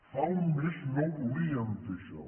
fa un mes no volíem fer això